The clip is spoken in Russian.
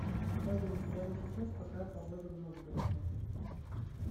салют прямо сейчас какая погода в новгороде